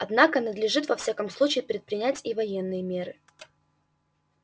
однако надлежит во всяком случае предпринять и военные меры